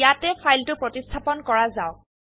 ইয়াতে ফাইলটো প্ৰতিস্থাপন কৰা যাওক